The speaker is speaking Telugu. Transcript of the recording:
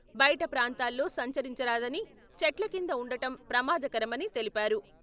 బయట ప్రాంతాల్లో సంచరించరాదనిచెట్ల కింద ఉండటం ప్రమాదకరమని తెలిపారు.